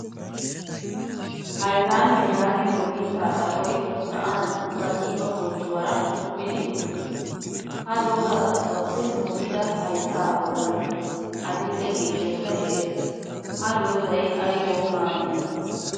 Ayedaamiyaa yaagiyo mitta xaphphoy sa'an ba qiiba bonccuwaara kumidi uttiis. Ha doza xaphphuwaappe mokkida haytta bollan adil'e ciishshaaykka de'ees. Ha dozay aybawu maadi?